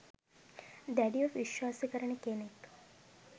දැඩිව විශ්වාස කරන කෙනෙක්